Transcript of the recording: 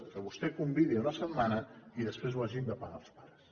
que vostè convidi una setmana i després ho hagin de pagar els pares